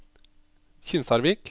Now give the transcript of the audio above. Kinsarvik